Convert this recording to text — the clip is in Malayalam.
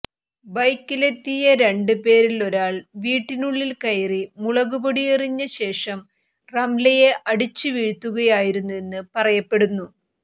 ബൈക്കിലെത്തിയ രണ്ട് പേരിലൊരാൾ വീട്ടിനുള്ളിൽ കയറി മുളകുപൊടി എറിഞ്ഞ ശേഷം റംലയെ അടിച്ചുവീഴ്ത്തുകയായിരുന്നെന്ന് പറയപ്പെടുന്നു